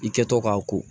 I kɛtɔ k'a ko